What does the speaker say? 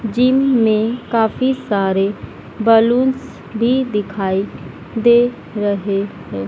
Gym में काफी सारे बलूंस भी दिखाई दे रहे हैं।